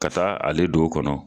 Ka taa ale don o kɔnɔ.